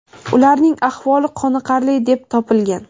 ularning ahvoli qoniqarli deb topilgan.